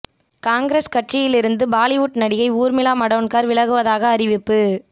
காங்கிரஸ் கட்சியில் இருந்து பாலிவுட் நடிகை ஊர்மிளா மடோன்கர் விலகுவதாக அறிவிப்பு